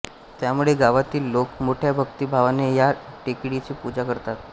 त्यामुळे गावातील लोक मोठ्या भक्तिभावाने या टेकडीची पूजा करतात